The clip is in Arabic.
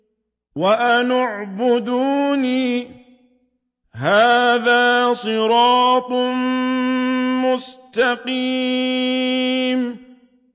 وَأَنِ اعْبُدُونِي ۚ هَٰذَا صِرَاطٌ مُّسْتَقِيمٌ